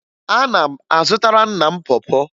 Ana m azụtara nna m pọ pọ